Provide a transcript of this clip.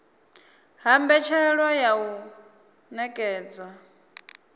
ha mbetshelwa ya u nekedzwa